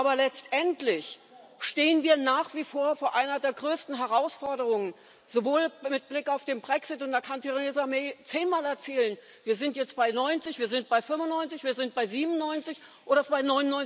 Aber letztendlich stehen wir nach wie vor vor einer der größten Herausforderungen, sowohl mit Blick auf den Brexit da kann Theresa May zehnmal erzählen Wir sind jetzt bei 90 wir sind bei 95 wir sind bei 97 oder bei